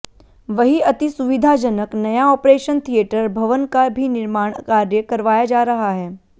वही अतिसुविधाजनक नया ऑपरेशन थियेटर भवन का भी निर्माण कार्य करवाया जा रहा है